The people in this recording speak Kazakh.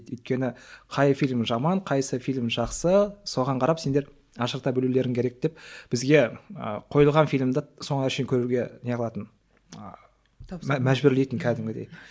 өйткені қай фильм жаман қайсысы фильм жақсы соған қарап сендер ажырата білулерің керек деп бізге ы қойылған фильмді соңына шейін көруге не қылатын ыыы мәжбүрлейтін кәдімгідей